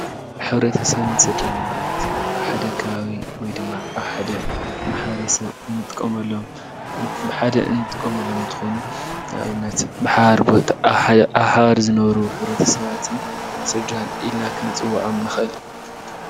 ሕብረተሰብን ስድራን ማለት ኣብ ሓደ ከባቢ ወይ ድማ ኣብ ሓደ ማሕብረሰብ ብሓደ ንጥቀመሎም እንትኾኑ ንኣብነት ኣብ ሓባር ዝነብሩ ሕብረተሰባትን ስድራን ኢልና ክንፅወዖም ንኽእል ።